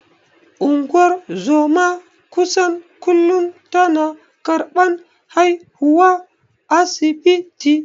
Ungozoma kusan kullun tana karban haihuwa asibiti.